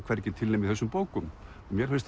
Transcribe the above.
hvergi til nema í þessum bókum mér finnst